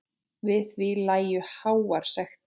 Við því lægju háar sektir.